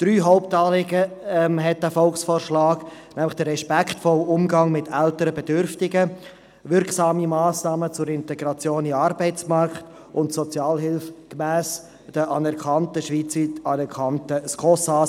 Drei Hauptanliegen enthält der Volksvorschlag, nämlich den respektvollen Umgang mit älteren Bedürftigen, wirksame Massnahmen zur Integration in den Arbeitsmarkt und Sozialhilfe gemäss den schweizweit anerkannten SKOS-Ansätzen.